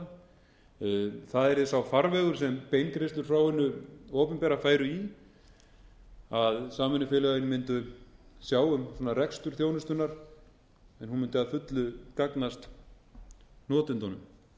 notendanna það yrði sá farvegur sem beingreiðslur frá hinu opinbera færu í að samvinnufélögin mundu sjá um rekstur þjónustunnar en hún mundi að fullu gagnast notendunum í